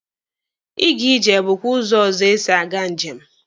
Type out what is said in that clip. Ịga ije bụkwa ụzọ ọzọ esi aga njem.